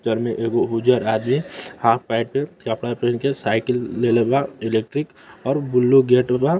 term में एगो उजर आदमी हाफ पैंट कपड़ा पेहन के साइकिल लेले वा इलेक्ट्रीक और बुलु गेट वा |